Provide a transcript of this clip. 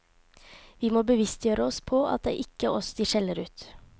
Vi må bevisstgjøre oss på at det ikke er oss de skjeller ut.